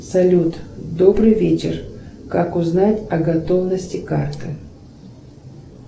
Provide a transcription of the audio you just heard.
салют добрый вечер как узнать о готовности карты